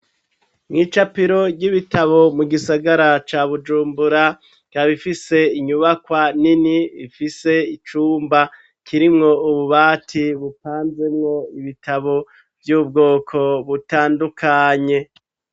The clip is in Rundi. Mw'icapiro ry'ibitabo, mu gisagara ca Bujumbura, ikaba ifise, inyubakwa nini, ifise icumba, kirimwo ububati, bupanzemwo ibitabo, vy'ubwoko butandukanye.